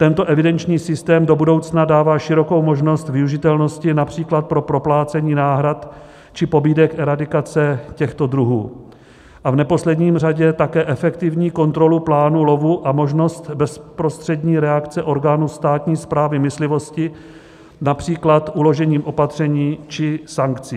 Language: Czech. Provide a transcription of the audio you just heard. Tento evidenční systém do budoucna dává širokou možnost využitelnosti například pro proplácení náhrad či pobídek eradikace těchto druhů a v neposlední řadě také efektivní kontrolu plánu lovu a možnost bezprostřední reakce orgánu státní správy myslivosti, například uložením opatření či sankcí.